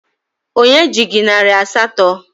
Onye ji gị narị asatọ?